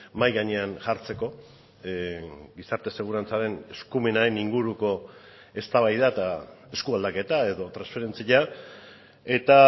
mahai gainean jartzeko gizarte segurantzaren eskumenaren inguruko eztabaida eta esku aldaketa edo transferentzia eta